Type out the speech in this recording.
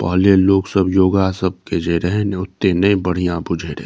पहले लोग सब योगा सब के जे रहै न वोते नइ बढ़िया भुझए रहि।